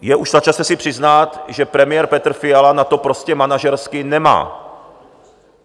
Je už na čase si přiznat, že premiér Petr Fiala na to prostě manažersky nemá.